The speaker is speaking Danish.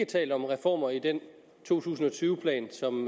talt om reformer i den to tusind og tyve plan som